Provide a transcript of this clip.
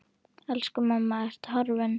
Elsku mamma, Ertu horfin?